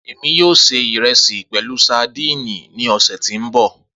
Emi yoo se iresi pẹlu sadíìnì ni ọsẹ ti n bọ.